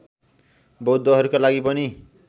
बौद्धहरूको लागि पनि